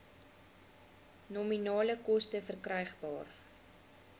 nominale koste verkrygbaar